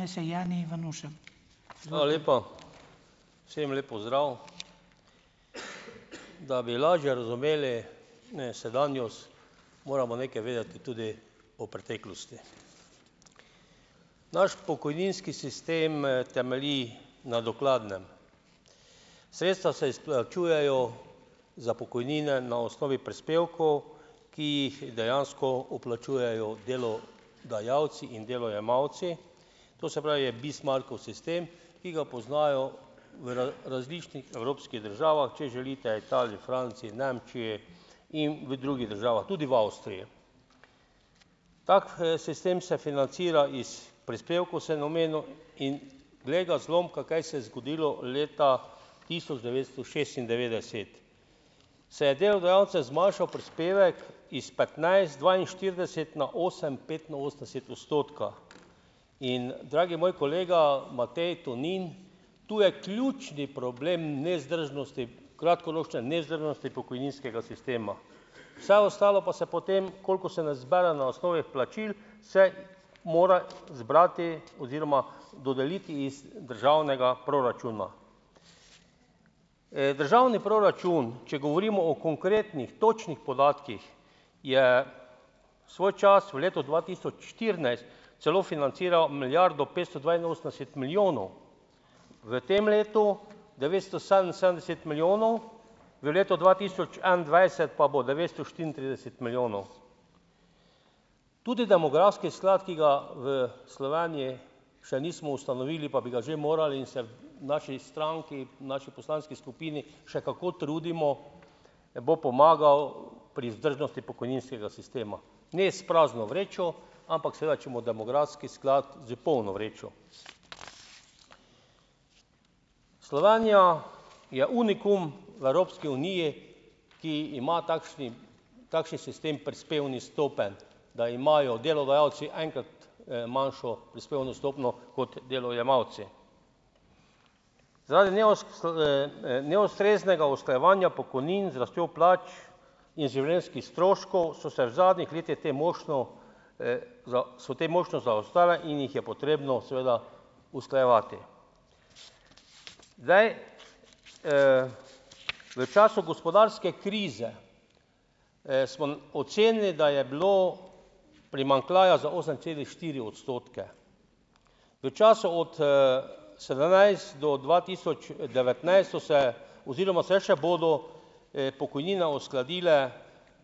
Hvala lepa. Vsem lep pozdrav! Da bi lažje razumeli, ne, sedanjost, moramo nekaj vedeti tudi o preteklosti. Naš pokojninski sistem, temelji na dokladnem. Sredstva se izplačujejo za pokojnine na osnovi prispevkov, ki jih dejansko vplačujejo delodajalci in delojemalci, to se pravi je Bismarckov sistem, ki ga poznajo v različnih evropskih državah, če želite Italiji, Franciji, Nemčiji in v drugih državah, tudi v Avstriji. Tak, sistem se financira iz prispevkov, sem omenil, in glej ga zloma, kaj se je zgodilo leta tisoč devetsto šestindevetdeset. Se je delodajalcem zmanjšal prispevek iz petnajst dvainštirideset na osem petinosemdeset odstotka. In dragi moj kolega Matej Tonin, tu je ključni problem nevzdržnosti, kratkoročne nevzdržnosti pokojninskega sistema. Vse ostalo pa se potem, koliko se ne zbere na osnovi plačil, se mora zbrati oziroma dodeliti iz državnega proračuna. Državni proračun, če govorimo o konkretnih točnih podatkih, je svoj čas v letu dva tisoč štirinajst celo financiral milijardo petsto dvainosemdeset milijonov, v tem letu devetsto sedeminsedemdeset milijonov v letu dva tisoč enaindvajset pa bo devetsto štiriintrideset milijonov. Tudi demografski sklad, ki ga v Sloveniji še nismo ustanovili, pa bi ga že morali, in se v naši stranki, naši poslanski skupini še kako trudimo, bo pomagal pri vzdržnosti pokojninskega sistema, ne s prazno vrečo, ampak seveda če bomo demografski sklad z polno vrečo. Slovenija je unikum v Evropski uniji, ki ima takšen, takšen sistem prispevnih stopenj, da imajo delodajalci enkrat, manjšo prispevno stopnjo kot delojemalci. neustreznega usklajevanja pokojnin z rastjo plač in življenjskih stroškov so se v zadnjih letih to mošnjo, so to mošnjo zaostale in jih je potrebno seveda usklajevati. Zdaj. V času gospodarske krize, smo ocenili, da je bilo primanjkljaja za osem celih štiri odstotke. V času od, sedemnajst do dva tisoč devetnajst so se oziroma se še bodo, pokojnine uskladile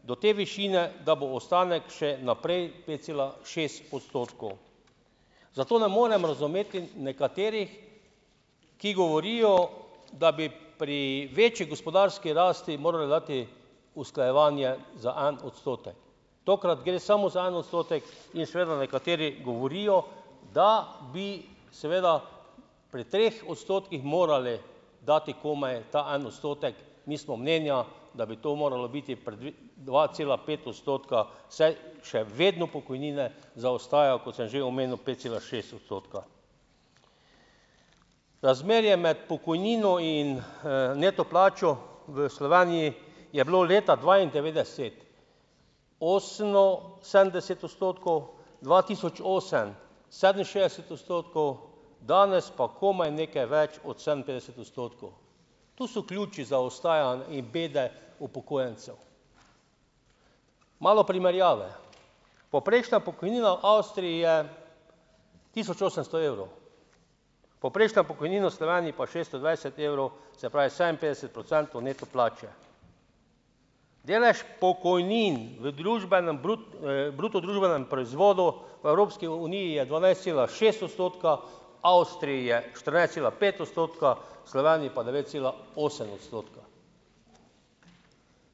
do te višine, da bo ostanek še naprej pet cela šest odstotkov. Zato ne morem razumeti nekaterih, ki govorijo, da bi pri večji gospodarski rasti morale dati usklajevanje za en odstotek. Tokrat gre samo za en odstotek in seveda nekateri govorijo, da bi seveda pri treh odstotkih morali dati komaj ta en odstotek. Mi smo mnenja, da bi to moralo biti pri dva cela pet odstotka, saj še vedno pokojnine zaostajajo, kot sem že omenil pet cela šest odstotka. Razmerje med pokojnino in, neto plačo v Sloveniji je bilo leta dvaindevetdeset oseminsedemdeset odstotkov dva tisoč osem sedeminšestdeset odstotkov, danes pa komaj nekaj več od sedeminpetdeset odstotkov. To so ključi zaostajanj in bede upokojencev. Malo primerjave. Povprečna pokojnina v Avstriji je tisoč osemsto evrov, povprečna pokojnina v Sloveniji pa šeststo dvajset evrov, se pravi sedeminpetdeset procentov neto plače. Delež pokojnin v družbenem bruto družbenem proizvodu v Evropski uniji je dvanajst cela šest odstotka, Avstriji je štirinajst cela pet odstotka, v Sloveniji pa devet cela osem odstotka.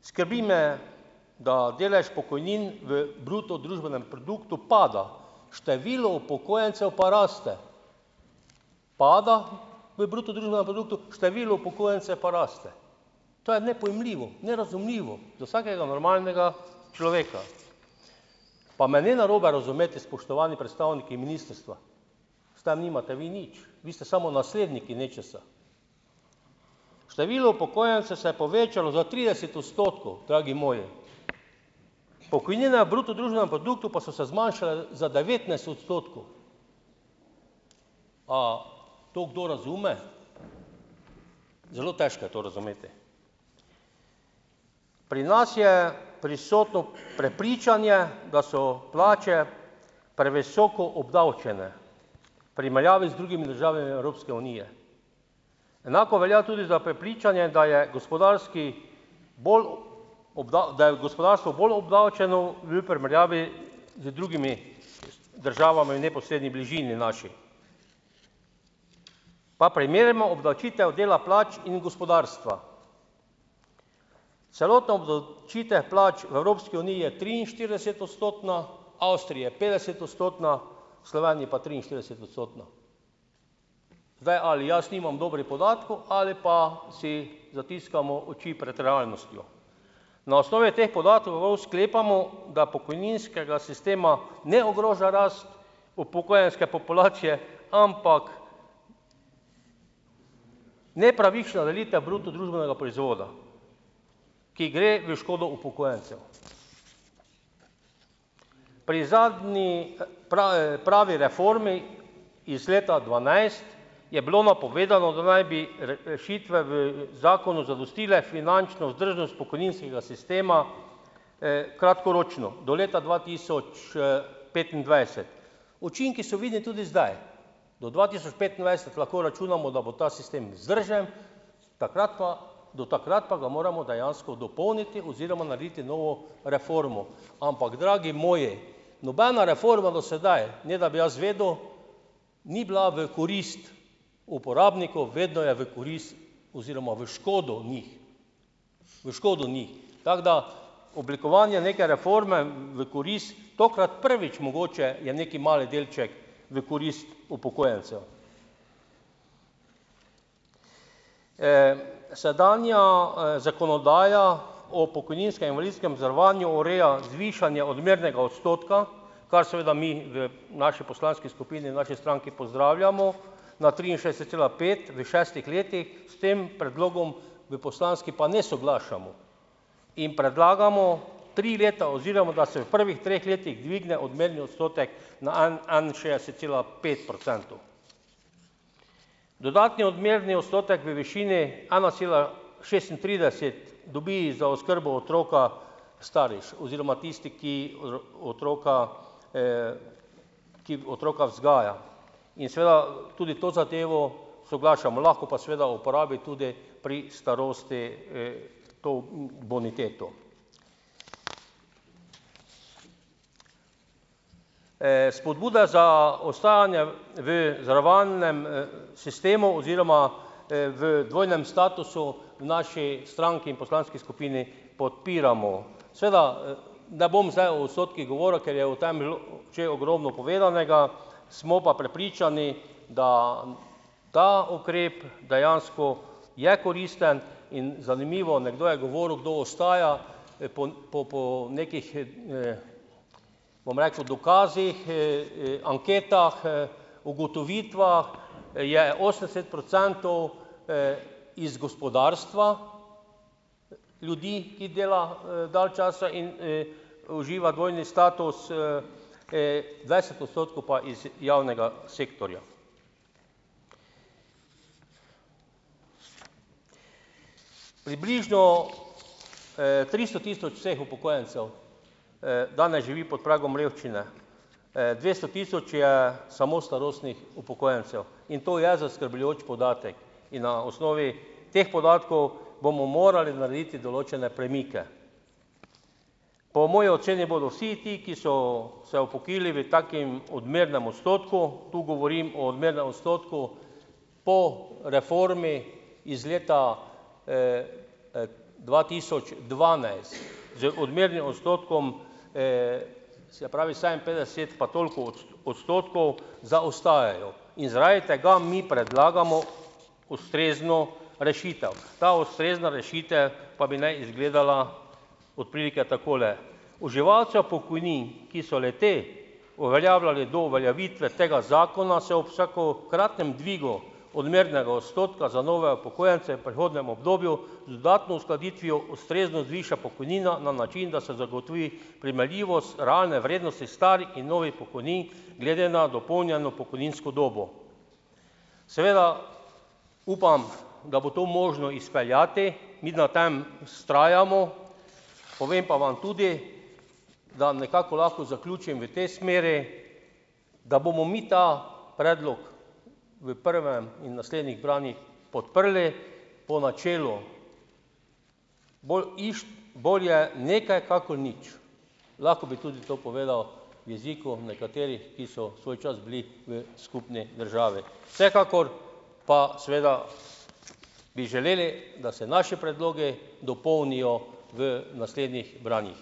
Skrbi me, da delež pokojnin v bruto družbenem produktu pada, število upokojencev pa raste, pada v bruto družbenem produktu, število upokojencev pa raste. To je nepojmljivo, nerazumljivo za vsakega normalnega človeka. Pa me ne narobe razumeti, spoštovani predstavniki ministrstva, s tem nimate vi nič. Vi ste samo nasledniki nečesa. Število upokojencev se je povečalo za trideset odstotkov, dragi moji. Pokojnine v bruto družbenem produktu pa so se zmanjšale za devetnajst odstotkov. A to kdo razume? Zelo težko je to razumeti. Pri nas je prisotno prepričanje, da so plače previsoko obdavčene v primerjavi z drugimi državami Evropske unije. Enako velja tudi za prepričanje, da je gospodarski bolj, da je gospodarstvo bolj obdavčeno v primerjavi z drugimi državami v neposredni bližini naši. Pa primerjamo obdavčitev dela plač in gospodarstva. Celotna obdavčitev plač v Evropski uniji je triinštiridesetodstotna, Avstriji je petdesetodstotna, v Sloveniji pa triinštiridesetodstotna. Zdaj, ali jaz nimam dobrih podatkov ali pa si zatiskamo oči prej realnostjo. Na osnovi teh podatkov sklepamo, da pokojninskega sistema ne ogroža rast upokojenske populacije, ampak nepravična delitev bruto družbenega proizvoda, ki gre v škodo upokojencev. Pri zadnji pravi, pravi reformi iz leta dvanajst je bilo napovedano, da naj bi rešitve v zakonu zadostile finančno vzdržnost pokojninskega sistema, kratkoročno do leta dva tisoč, petindvajset. Učinki so videni tudi zdaj. Do dva tisoč petindvajset lahko računamo, da bo ta sistem vzdržen, takrat pa, do takrat pa ga moramo dejansko dopolniti oziroma narediti novo reformo. Ampak dragi moji, nobena reforma do sedaj, ne da bi jaz vedel, ni bila v korist uporabniku, vedno je v korist oziroma v škodo njih. V škodo njih tako da ... Oblikovanje neke reforme v korist, tokrat prvič mogoče je neki mali delček v korist upokojencev. Sedanja, zakonodaja o pokojninskem in invalidskem zavarovanju ureja zvišanje odmernega odstotka, kar seveda mi v naši poslanski skupini, v naši stranki pozdravljamo na triinšestdeset cela pet v šestih letih. S tem predlogom v poslanski pa ne soglašamo. In predlagamo tri leta oziroma da se v prvih treh letih dvigne odmerni odstotek na enainšestdeset cela pet procentov. Dodatni odmerni odstotek v višini ena cela šestintrideset dobi za oskrbo otroka starš oziroma tisti, ki otroka, ki otroka vzgaja. In seveda tudi to zadevo soglašamo. Lahko pa seveda uporabi tudi pri starosti, to boniteto. Spodbuda za ostajanje v zavarovalnem, sistemu oziroma, v dvojnem statusu v naši stranki in v poslanski skupini podpiramo. Seveda, ne bom zdaj o odstotkih govoril, ker je o tem bilo že ogromno povedanega. Smo pa prepričani, da ta ukrep dejansko je koristen, in zanimivo, nekdo je govoril, kdo ostaja, po, po, po nekih, bom rekel, dokazih, anketah, ugotovitvah je osemdeset procentov, iz gospodarstva ljudi, ki dela, dalj časa in, uživa dvojni status, dvajset odstotkov pa iz javnega sektorja. Približno, tristo tisoč vseh upokojencev, danes živi pod pragom revščine. dvesto tisoč je samo starostnih upokojencev. In to je zaskrbljujoč podatek. In na osnovi teh podatkov bomo morali narediti določene premike. Po moji oceni bodo vsi ti, ki so se upokojili v takem odmernem odstotku, tu govorim o odmernem odstotku po reformi iz leta, dva tisoč dvanajst z odmernim odstotkom, se pravi sedeminpetdeset, pa toliko odstotkov zaostajajo. In zaradi tega mi predlagamo ustrezno rešitev. Ta ustrezna rešitev pa bi naj izgledala od prilike takole. Uživalcev pokojnin, ki so le-te uveljavljali do uveljavitve tega zakona, se ob vsakokratnem dvigu odmernega odstotka za nove upokojence v prehodnemu obdobju z dodatno uskladitvijo ustrezno zviša pokojnina na način, da se zagotovi primerljivost realne vrednosti starih in novih pokojnin glede na dopolnjeno pokojninsko dobo. Seveda upam, da bo to možno izpeljati. Mi na tem vztrajamo. Povem pa vam tudi, da nekako lahko zaključim v tej smeri, da bomo mi ta predlog v prvem in naslednjih branjih podprli po načelu bolj "bolje nekaj kakor nič". Lahko bi tudi to povedal v jeziku nekaterih, ki so svoj čas bili v skupni državi. Vsekakor pa seveda bi želeli, da se naši predlogi dopolnijo v naslednjih branjih.